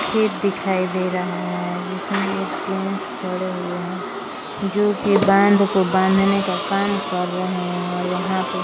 खेत दिखाई दे रहा है जिसमे एक जेंट्स खड़े हुए है जो कि बांध को बांधने का काम कर रहे है और वहां पे --